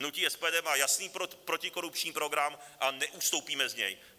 Hnutí SPD má jasný protikorupční program a neustoupíme z něj.